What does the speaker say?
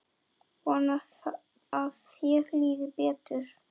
Vona að þér líði betur.